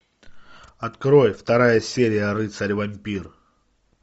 открой вторая серия рыцарь вампир